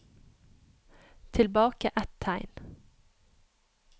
Tilbake ett tegn